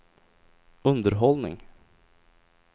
underhållning